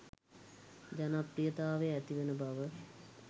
ජනප්‍රියතාවය ඇතිවෙන බව.